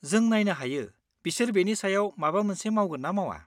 जों नायनो हायो बिसोर बेनि सायाव माबा मोनसे मावगोन ना मावा।